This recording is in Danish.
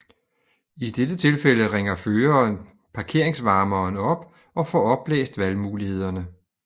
I dette tilfælde ringer føreren parkeringsvarmeren op og får oplæst valgmulighederne